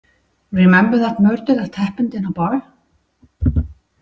Remember that murder that happened in a bar?